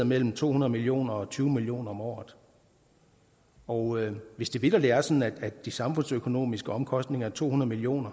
mellem to hundrede million og tyve million kroner om året og hvis det vitterlig er sådan at de samfundsøkonomiske omkostninger er to hundrede million